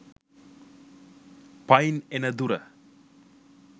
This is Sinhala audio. පයින් එන දුර.